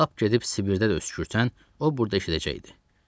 Lap gedib Sibirdə də öskürsən, o burda eşidəcəkdi.